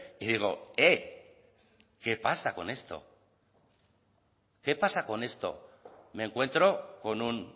y digo eh qué pasa con esto qué pasa con esto me encuentro con un